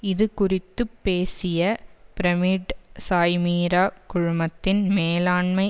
இது குறித்து பேசிய பிரமிட் சாய்மீரா குழுமத்தின் மேலாண்மை